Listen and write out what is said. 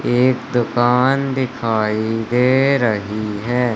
एक दुकान दिखाई दे रही है।